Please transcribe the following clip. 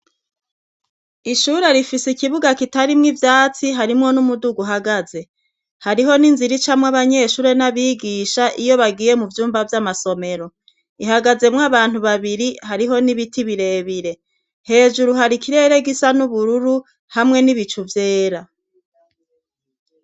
Ishure rifise ikibuga kitarimwo ivyatsi harimwo n'umudugu uhagaze hariho n'inzira icamwo abanyeshure n'abigisha iyo bagiye muvyumba vy'amasomero ihagazemwo abantu babiri. Hariho n'ibiti birebire, hejuru har'ikirere gisa n'ubururu hamwe n'ibicu vyera.